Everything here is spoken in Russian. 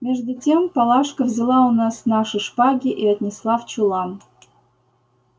между тем палашка взяла у нас наши шпаги и отнесла в чулан